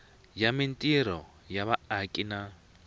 ya mintirho ya vaaki na